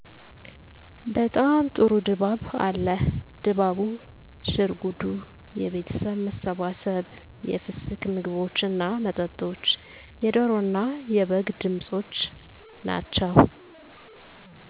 በጣም ጥሩ ድባብ አለ። ድባቡ፤ ሽርጉዱ፤ የቤተሠብ መሠባሠብ፤ የፍስክ ምግቦች እና መጠጦች፤ የደሮ እና የበግ ድምፆች ናቸው።